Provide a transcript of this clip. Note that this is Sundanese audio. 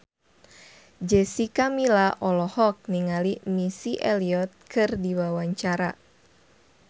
Jessica Milla olohok ningali Missy Elliott keur diwawancara